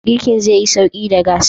Girkin zaiyi sauƙi da gas.